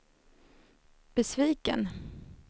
besviken